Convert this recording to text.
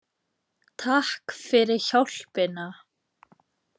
Takk fyrir hjálpina!